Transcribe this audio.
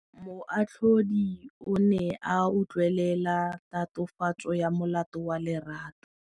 Moatlhodi o ne a utlwelela tatofatsô ya molato wa Lerato.